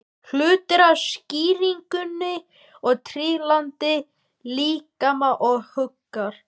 Hluti af skýringunni er trygglyndi líkama og hugar.